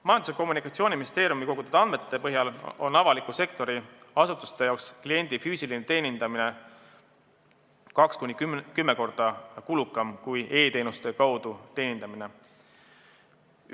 Majandus- ja Kommunikatsiooniministeeriumi kogutud andmete põhjal on avaliku sektori asutuste jaoks kliendi füüsiline teenindamine kaks kuni kümme korda kulukam kui e-teenuste kaudu teenindamine.